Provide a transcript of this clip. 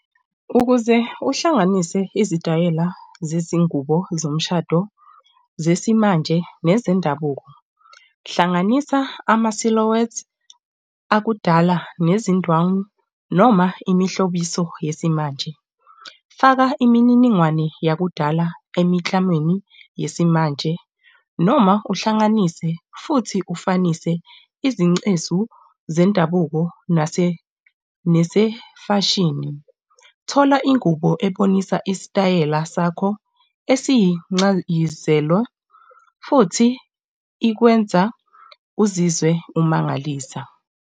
Ukuze uhlanganise izitayela zezingubo zemshado zesimanje nezendabuko, hlanganisa ama-silhouettes akudala nezindwangu noma imihlobiso yesimanje. Faka imininingwane yakudala emikhamweni yesimanje noma uhlanganise futhi ufunise izingcezu zendabuko nesefashini. Thola ingubo ebonisa isitayela sakho esiyincayizelo futhi ikwenza uzizwe umangalisa.